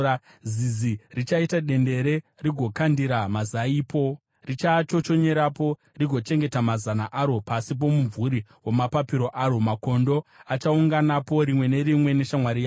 Zizi richaita dendere rigokandira mazaipo, richaachochonyerapo, rigochengeta mazana aro pasi pomumvuri wamapapiro aro; makondo achaunganapo, rimwe nerimwe neshamwari yaro.